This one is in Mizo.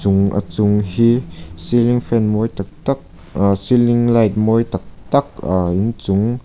a chung hi ceiling fan mawi tak tak aaa ceiling light mawi tak tak aaa inchung--